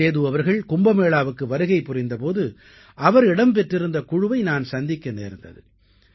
சேது அவர்கள் கும்பமேளாவுக்கு வருகை புரிந்த போது அவர் இடம் பெற்றிருந்த குழுவை நான் சந்திக்க நேர்ந்தது